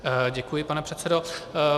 Děkuji, pane předsedo.